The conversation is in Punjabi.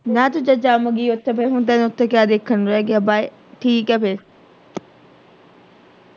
ਨਾ ਜੇ ਤੇ ਤੂੰ ਜੰਮ ਗਈ ਓਥੇ ਫੇਰ ਤੇਰੇ ਦੇਖਣ ਨੂੰ ਕੀ ਰਹਿ ਗਿਆ bye ਠੀਕ ਆ ਫੇਰ।